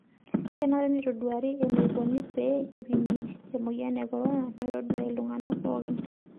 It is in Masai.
Kenare neitoduaari eneikoni pee eipimi emoyian e korona metodua iltung'ana pookin.